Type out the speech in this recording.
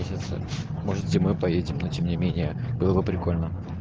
месяца может зимой поедем но тем не менее было бы прикольно